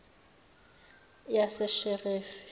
yasesheferi